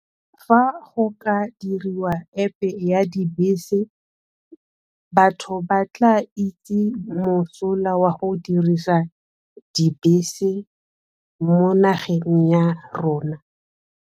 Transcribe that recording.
Fa go ka diriwa App e ya dibese, batho ba tla itse mosola wa go dirisa dibese mo nageng ya rona.